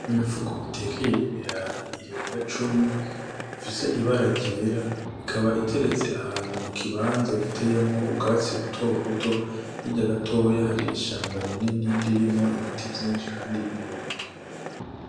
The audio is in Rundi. Imifuko itekeye ibirayi irenga cumi ifise ibara ryera ikaba iteretse ahantu mu kibanza giteyemwo ubwatsi buto buto hirya gatoya hari ishamba rinini ririmwo ibiti vyinshi kandi birebire.